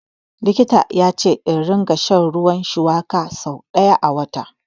Likita ya ce in ringa shan ruwan shuwaka so ɗaya a wata.